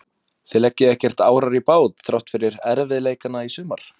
Þið leggið ekkert árar í bát þrátt fyrir erfiðleikana í sumar?